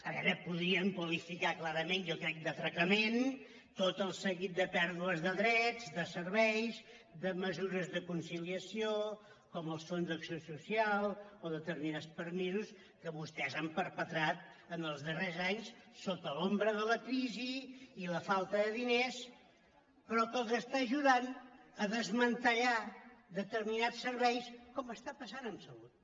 a veure podríem qualificar clarament jo crec d’atra·cament tot el seguit de pèrdues de drets de serveis de mesures de conciliació com els fons d’acció social o determinats permisos que vostès han perpetrat en els darrers anys sota l’ombra de la crisi i la falta de diners però que els està ajudant a desmantellar determinats serveis com està passant amb salut